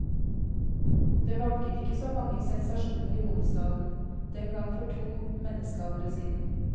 Det vanket ikke så mange sensasjoner i hovedstaden, den gang for to menneskealdre siden.